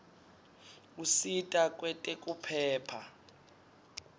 usita kwetekuphepha